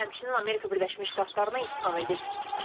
O həmçinin Amerika Birləşmiş Ştatlarını ittiham edib.